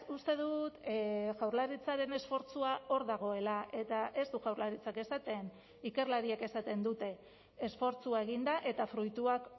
uste dut jaurlaritzaren esfortzua hor dagoela eta ez du jaurlaritzak esaten ikerlariek esaten dute esfortzua egin da eta fruituak